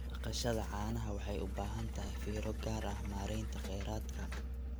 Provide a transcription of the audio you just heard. Dhaqashada caanaha waxay u baahan tahay fiiro gaar ah maareynta kheyraadka.